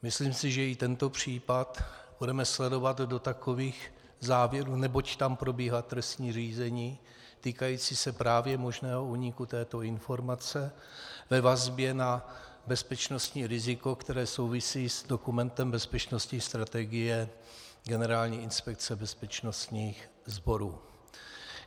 Myslím si, že i tento případ budeme sledovat do takových závěrů, neboť tam probíhá trestní řízení týkající se právě možného úniku této informace ve vazbě na bezpečnostní riziko, které souvisí s dokumentem Bezpečnostní strategie Generální inspekce bezpečnostních sborů.